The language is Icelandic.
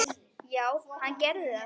Já, hann gerir það